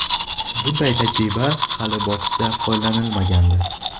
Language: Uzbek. Bunday tajriba hali boksda qo‘llanilmagandi.